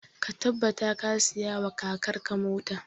Ka tabbata ka saya wa kakar ka mota!